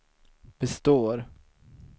består